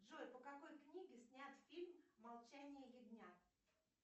джой по какой книге снят фильм молчание ягнят